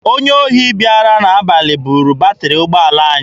Onye ohi bịara n'abalị buru batịrị ụgbọala anyị.